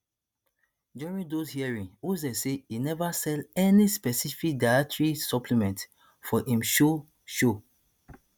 during those hearings oz say e neva sell any specific dietary supplements for im show show